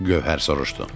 Gövhər soruşdu.